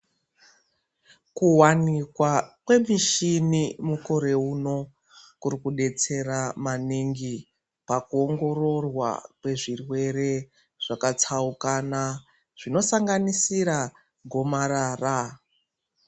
Kuwanikwa kwemishini mukore uno, kuri kudetsera maningi pakuongororwa kwezvirwere zvakatsaukana, zvinosanganisira gomarara.